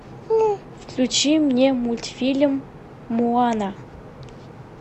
включи мне мультфильм моана